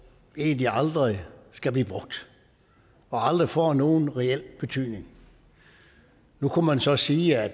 egentlig aldrig skal blive brugt og aldrig får nogen reel betydning nu kunne man så sige at